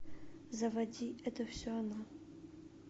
заводи это все она